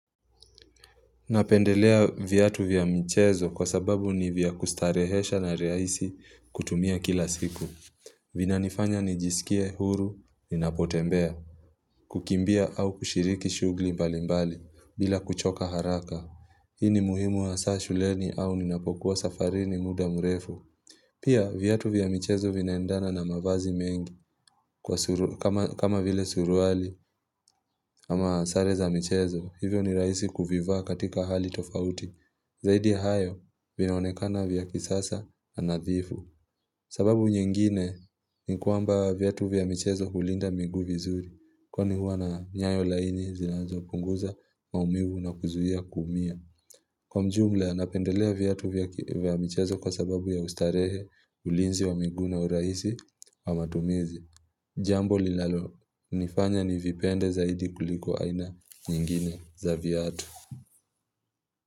Napendelea vyatu vya michezo kwa sababu ni vya kustarehesha na rahisi kutumia kila siku. Vinanifanya nijisikie huru ninapotembea, kukimbia au kushiriki shughuli mbali mbali bila kuchoka haraka. Hii ni muhimu hasa shuleni au ninapokuwa safarini muda mrefu. Pia vyatu vya michezo vinaendana na mavazi mengi kama vile suruali ama sare za michezo. Hivyo ni raisi kuvivaa katika hali tofauti Zaidi ya hayo vinaonekana vya kisasa na nadhifu sababu nyingine ni kwamba vyatu vya michezo hulinda miguu vizuri kwani hua na nyayo laini zinazopunguza maumivu na kuzuia kuumia. Kwa jumla napendelea vyatu vya michezo kwa sababu ya ustarehe, ulinzi wa miguu na uraisi wa matumizi Jambo linalonifanya nivipende zaidi kuliko aina nyingine za vyatu.